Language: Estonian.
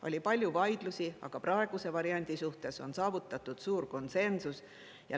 Oli palju vaidlusi, aga praeguse variandi suhtes on saavutatud suur konsensus.